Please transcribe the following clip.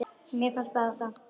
Mér bara finnst það.